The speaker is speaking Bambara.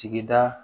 Sigida